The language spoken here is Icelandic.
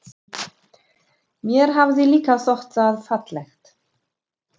Mér hafði líka þótt það fallegt.